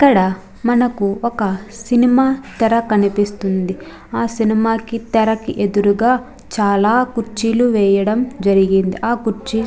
ఇక్కడ మనకు ఒక సినిమా తెర కనిపిస్తుంది. ఆ సినిమా కి తెర కి ఎదురుగా చాల కుర్చీలు వేయడం జరిగింది ఆ కుర్చీలు --